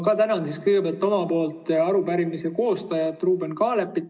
Ma tänan kõigepealt arupärimise koostajat Ruuben Kaalepit.